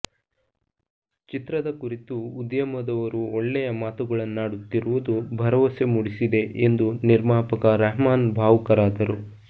ಚಿತ್ರದ ಕುರಿತು ಉದ್ಯಮದವರು ಒಳ್ಳೆಯ ಮಾತುಗಳನ್ನಾಡುತ್ತಿರುವುದು ಭರವಸೆ ಮೂಡಿಸಿದೆ ಎಂದು ನಿರ್ಮಾಪಕ ರೆಹಮಾನ್ ಭಾವುಕರಾದರು